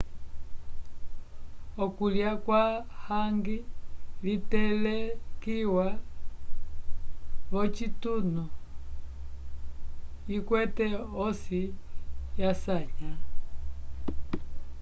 okulya kwa hangi litelekiwa v'ocitunu ikwete osi yasanya